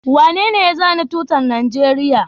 Wanene ya zana tutar Najeriya?